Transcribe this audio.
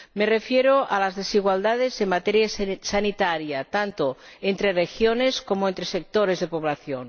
Me refiero a las desigualdades en materia sanitaria, tanto entre regiones como entre sectores de población